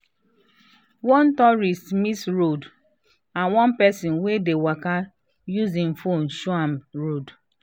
one tourist miss road and one person wey dey waka use im phone show am road.